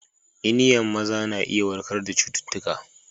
Iniyan maza na iya warkar da cututtuka.